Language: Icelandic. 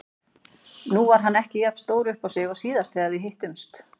Nú var hann ekki jafn stór uppá sig og síðast þegar við hittumst.